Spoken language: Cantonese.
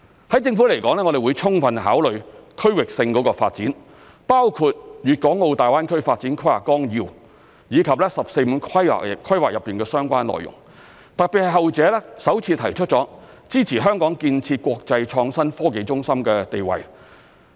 對政府來說，我們會充分考慮區域性發展，包括《粵港澳大灣區發展規劃綱要》以及"十四五"規劃的相關內容，特別是後者首次提出支持香港建設國際創新科技中心的地位。